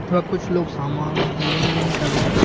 और कुछ लोग सामान लेन देन कर रहे हैं।